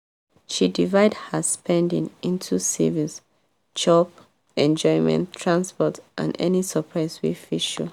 she divide her spending into savings chop enjoyment transport and any surprise wey fit show.